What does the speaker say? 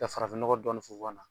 Ka farafin nɔgɔ dɔnnin funfun na.